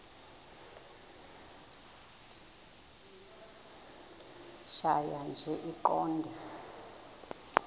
tjhaya nje iqondee